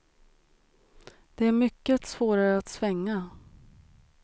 Det är mycket svårare att svänga.